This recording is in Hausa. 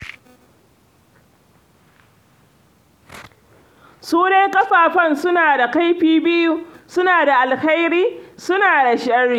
Su dai kafafen suna da kaifi biyu, suna da alheri, suna da sharri.